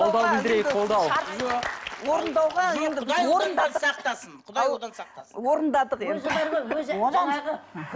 қолдау білдірейік қолдау орындауға сақтасын құдай одан сақтасын орындадық енді